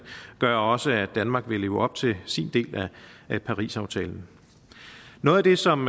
gør også at danmark vil leve op til sin del af parisaftalen noget af det som